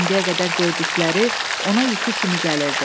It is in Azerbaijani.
İndiyə qədər gördükləri ona yuxu kimi gəlirdi.